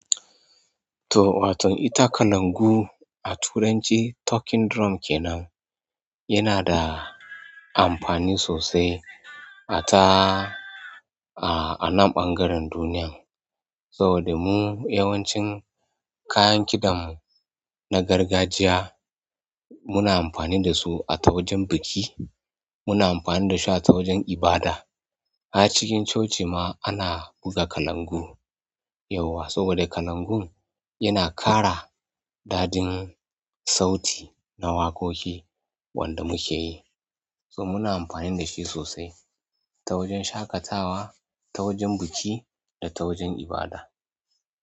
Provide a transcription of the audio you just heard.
To waton ita kalandu a turanci talking drum kenan yanada amfani sosai ata anan ɓangaren duniyan saboda mu yawancin kayan kidammu na gargajiya muna amfani da su a tawajen biki, muna amfani da shi a tawajen ibada. A cikin coci ma ana buga kalangu yauwa saboda kalangun yana ƙara daɗin sauti na waƙoƙi wanda muke yi. So muna amfani da shi sosai ta wajen shaƙatawa, ta wajen biki da ta wajen ibada.